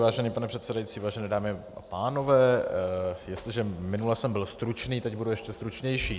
Vážený pane předsedající, vážené dámy a pánové, jestliže minule jsem byl stručný, teď budu ještě stručnější.